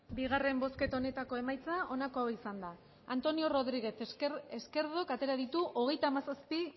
rodriguez hirurogeita hamalau eman dugu bozka hogeita hamazazpi